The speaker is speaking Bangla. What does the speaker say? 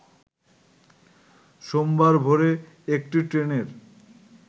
সোমবার ভোরে একটি ট্রেনের